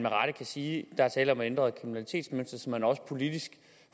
kan sige at der er tale om et ændret kriminalitetsmønster så man også politisk